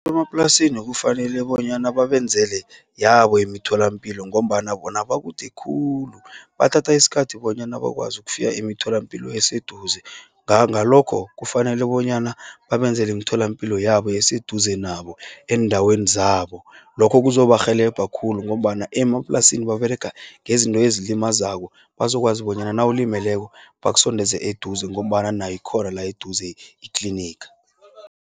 Emaplasini kufanele bonyana babenzele yabo iimtholampilo, ngombana bona bakude khulu. Bathatha iskhathi bonyana bakwazi ukufika emitholampilo eseduze. Ngalokho kufanele bonyana babenzele iimtholampilo, yabo eseduze nabo, eendaweni zabo. Lokhu kuzobarhelebha khulu, ngombana emaplasini baberega ngezinto ezilimazako. Bazokwazi bonyana nawulimileko bakusondeze eduze, ngombana nayikhona la eduze itliniga.